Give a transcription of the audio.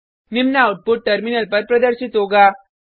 निम्न output terminal पर प्रदर्शित होगा